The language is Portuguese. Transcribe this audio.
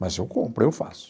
Mas eu compro, eu faço.